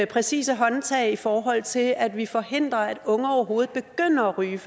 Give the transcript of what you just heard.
præcise håndgreb i forhold til at vi forhindrer at unge overhovedet begynder at ryge